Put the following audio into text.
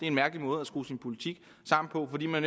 en mærkelig måde at skrue sin politik sammen på fordi man